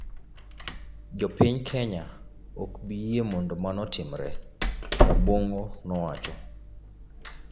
Jo piny Kenya ok bi yie mondo mano otimre," Rabong'o nowacho.